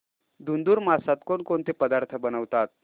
धुंधुर मासात कोणकोणते पदार्थ बनवतात